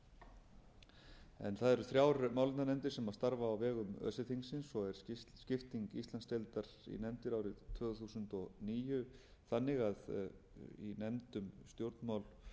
það eru þrjár málefnanefndir starfa á vegum öse þingsins og er skipting íslandsdeildar í nefndir árið tvö þúsund og níu þannig að í nefnd um stjórnmál